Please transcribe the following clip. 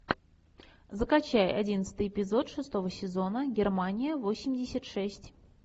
закачай одиннадцатый эпизод шестого сезона германия восемьдесят шесть